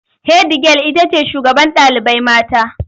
Hedigyal itace shugaban ɗalibai mata